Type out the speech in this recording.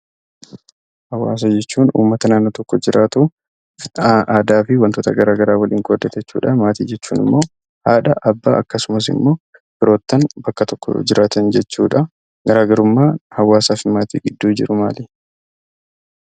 Hawaasa jechuun ummata naannoo tokko jiraatu fi aadaa tokko waliin qoodatu. Maatii jechuun immoo haadha, abbaa fi ijoollee mana tokko keessa waliin jiraatan jechuudha. Garaagarummaan hawaasa fi maatii gidduu jiru maalidha?